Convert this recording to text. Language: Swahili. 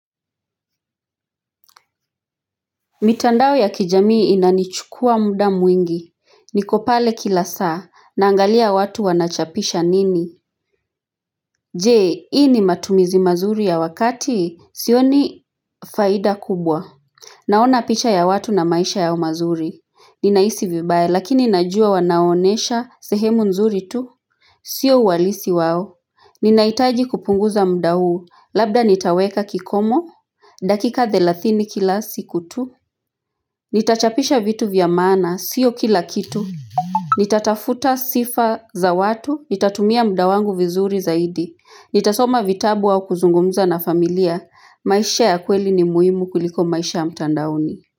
Mitandao ya kijamii inanichukua muda mwingi niko pale kila saa naangalia watu wanachapisha nini Je hii ni matumizi mazuri ya wakati sioni faida kubwa Naona picha ya watu na maisha yao mazuri Ninahisi vibaya lakini najua wanaonesha sehemu nzuri tu Sio uhalisi wao Ninahitaji kupunguza muda huu Labda nitaweka kikomo dakika thelathini kila siku tu Nitachapisha vitu vya maana, sio kila kitu Nitatafuta sifa za watu Nitatumia muda wangu vizuri zaidi Nitasoma vitabu au kuzungumza na familia maisha ya kweli ni muhimu kuliko maisha ya mtandaoni.